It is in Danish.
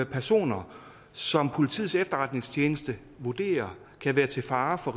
personer som politiets efterretningstjeneste vurderer kan være til fare for